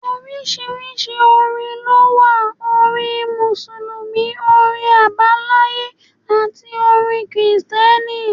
Oríṣiríṣi orin lówà; orin Mùsùlùmí, orin Àbáláyé àti orin kìrìtẹ̀ni.